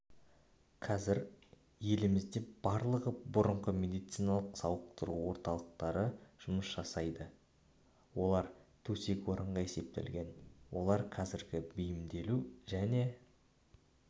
қазір елімізде барлығы бұрынғы медициналық сауықтыру орталықтары жұмыс жасайды олар төсек-орынға есептелген олар қазір бейімдеу және